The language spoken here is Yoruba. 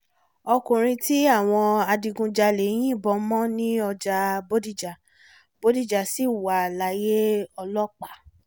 ọkùnrin tí àwọn adigunjalè yìnbọn mọ̀ ní ọjà bọ́díjà bọ́díjà sì wà láyé ọlọ́pàá